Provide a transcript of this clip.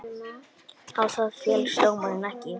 Á það féllst dómari ekki.